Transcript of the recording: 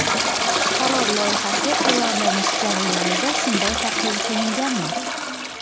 Qaror loyihasi tayyorlanish jarayonida shunday tahlil qilinganmi?